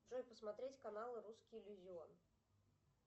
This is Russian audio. джой посмотреть канал русский иллюзион